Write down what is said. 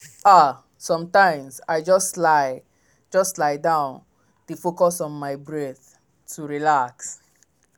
ah sometimes i just lie just lie down dey focus on my breath to relax.